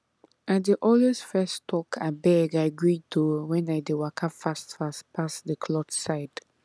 i dey always fess talk abeg i greet o when i dey waka fast fast pass the cloth side